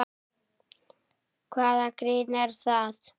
Hvaða grín er það?